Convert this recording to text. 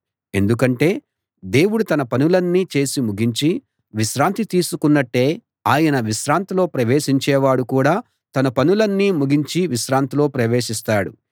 ఎందుకంటే దేవుడు తన పనులన్నీ చేసి ముగించి విశ్రాంతి తీసుకున్నట్లే ఆయన విశ్రాంతిలో ప్రవేశించేవాడు కూడా తన పనులన్నీ ముగించి విశ్రాంతిలో ప్రవేశిస్తాడు